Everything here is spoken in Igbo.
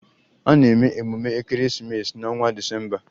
A na-eme emume ekeresimesi n'ọnwa Disemba.